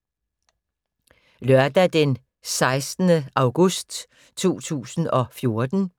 Lørdag d. 16. august 2014